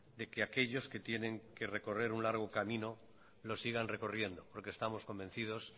de que aquellos que tienen que recorrer un largo camino lo sigan recorriendo porque estamos convencidos